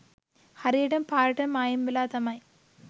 හරියටම පාරටම මායිම් වෙලා තමයි